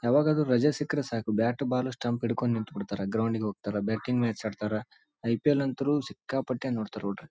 ಯಾವಾಗಾದ್ರು ರಜೆ ಸಿಕ್ಕಿದ್ರೆ ಸಾಕು ಬ್ಯಾಟ್ ಬಾಲು ಸ್ಟಂಪ್ ಹಿಡ್ಕೊಂಡು ನಿಂತ್ಬಿಡ್ತಾರ ಗ್ರೌಂಡ್ ಗ್ ಹೋಗ್ತಾರ ಬೆಟ್ಟಿಂಗ್ ಮ್ಯಾಚ್ ಆಡ್ತಾರ ಐ.ಪಿ.ಎಲ್ ಅಂತ್ರೂ ಸಿಕ್ಕಾಪಟ್ಟೆ ನೋಡ್ತಾರ್ .